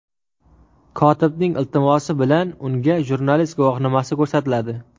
Kotibning iltimosi bilan unga jurnalist guvohnomasi ko‘rsatiladi.